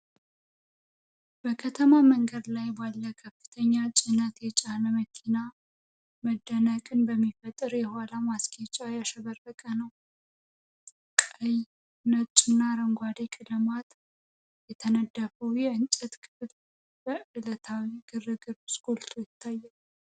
በከተማ መንገድ ላይ ባለ ከፍተኛ ጭነት የጫነ መኪና መደነቅን በሚፈጥር የኋላ ማስጌጫ ያሸበረቀ ነው። ቀይ፣ ነጭና አረንጓዴ ቀለማት የተነደፈው የእንጨት ክፍል በዕለታዊው ግርግር ውስጥ ጎልቶ ይታያል።